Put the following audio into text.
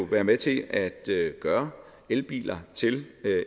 være med til at gøre elbiler til